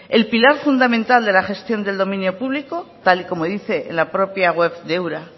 el pilar fundamental de la gestión del dominio público tal y como dice en la propia web de ura